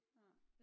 Nej